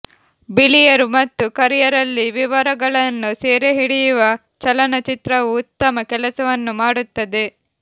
ಬಿಳಿಯರು ಮತ್ತು ಕರಿಯರಲ್ಲಿ ವಿವರಗಳನ್ನು ಸೆರೆಹಿಡಿಯುವ ಚಲನಚಿತ್ರವು ಉತ್ತಮ ಕೆಲಸವನ್ನು ಮಾಡುತ್ತದೆ